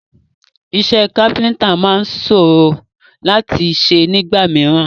Iṣẹ́ káfíntà máa sòrò láti ṣe nígbà mìíràn.